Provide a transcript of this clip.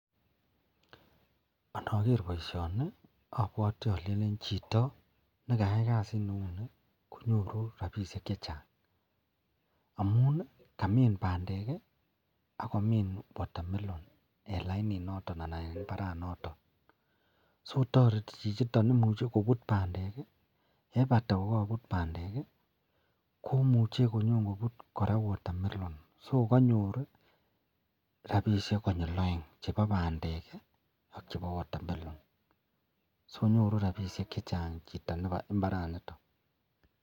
Anger baishoni abwati Alen Chito nekayai kasit neuni konyoru rabishek chechang amun Kamin bandek akomin watermelon lainit noton anan en imbar noton akotari chichiton amun imuche kobut bandek ak yebata kobut bandek komuche koraa konyo kobut watermelon ako kanyor rabishek konyil aeng chebo bandek ak chebo watermelon akinyoru rabishek chechang